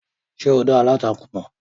Ṣé o dá aláǹtakùn mọ̀?